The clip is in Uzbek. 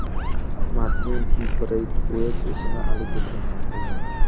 Martin Breytueyt ishini Ali Dursun hal qildi.